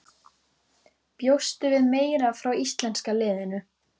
Bjóstu við meira frá íslenska liðinu?